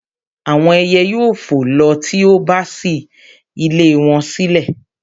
àwọn ẹyẹ yóò fò lọ ti o bá ṣí ilé wọn sílẹ̀